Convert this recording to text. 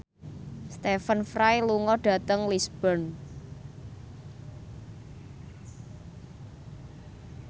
Stephen Fry lunga dhateng Lisburn